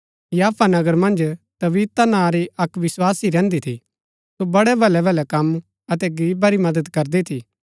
याफा नगर मन्ज तबीता नां री अक्क विस्वासी रैहन्‍दी थी सो बड़ै भलै भलै कम अतै गरीबा री मदद करदी थी